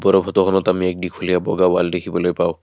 ওপৰৰ ফটোখনত আমি এক দীঘলীয়া বগা ওৱাল দেখিবলৈ পাওঁ।